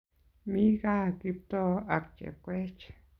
Mi kaa Kiptoo ak Chepkoech